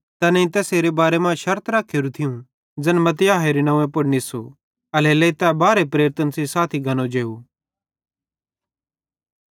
तैनेईं तैसेरे बारे मां शर्त रखेरू थियूं ज़ैन मत्तियाह नंव्वे पुड़ निस्सू एल्हेरेलेइ तै बारहे प्रेरितन सेइं साथी गनो जेव